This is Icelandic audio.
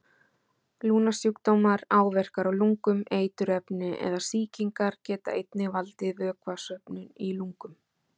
Lungnasjúkdómar, áverkar á lungum, eiturefni eða sýkingar geta einnig valdið vökvasöfnun í lungum.